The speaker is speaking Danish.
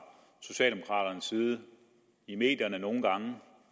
socialdemokraternes side i medierne nogle gange